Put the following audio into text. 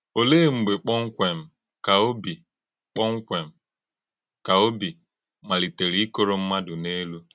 Òlee mgbè kpọmkwem ka òbí kpọmkwem ka òbí malítèrè íkòrò ḿmádụ́ n’èlú?